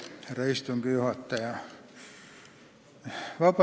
Härra istungi juhataja!